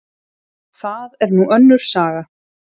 Það er nú önnur saga.